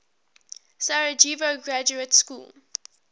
sarajevo graduate school